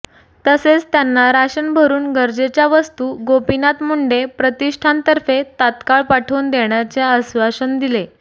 तसेच त्यांना राशन भरून गरजेच्या वस्तू गोपीनाथ मुंडे प्रतिष्ठान तर्फे तात्काळ पाठवून देण्याचे आश्वासन दिले